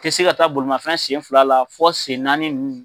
Tɛ se ka taa bolimafɛn senfila la fɔ sennaani